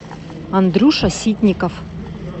андрюша ситников